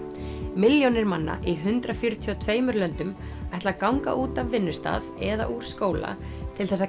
milljónir manna í hundrað fjörutíu og tveimur löndum ætla að ganga út af vinnustað eða úr skóla til þess að